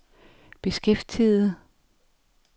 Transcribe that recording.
beskæftiget